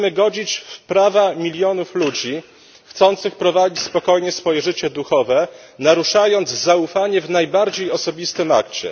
Będziemy godzić w prawa milionów ludzi chcących prowadzić spokojnie swoje życie duchowe, naruszając zaufanie w najbardziej osobistym akcie.